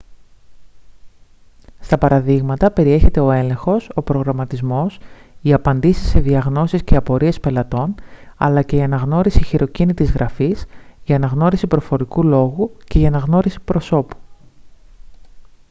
στα παραδείγματα περιέχεται ο έλεγχος ο προγραμματισμός οι απαντήσεις σε διαγνώσεις και απορίες πελατών αλλά και η αναγνώριση χειροκίνητης γραφής η αναγνώριση προφορικού λόγου και η αναγνώριση προσώπου